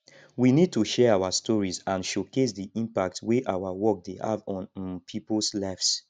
we need to share our stories and showcase di impact wey our work dey have on um peoples lives